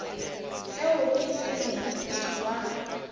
seo ke se moithuti wa